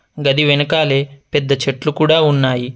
గది వెనకాలే పెద్ద చెట్లు కూడా ఉన్నాయి.